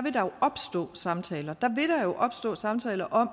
vil der jo opstå samtaler der vil der jo opstå samtaler om